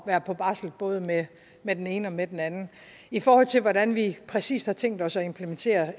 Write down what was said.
være på barsel både med med den ene og med den anden i forhold til hvordan vi præcis har tænkt os at implementere